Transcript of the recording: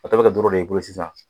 A tɔ bɛ kɛ ndoro de ye sisan